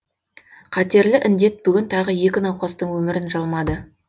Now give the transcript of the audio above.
қатерлі індет бүгін тағы екі науқастың өмірін жалмады